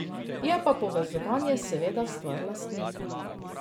Je pa povezovanje seveda stvar lastnika.